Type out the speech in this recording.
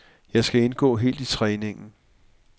Jeg skal indgå helt i træningen.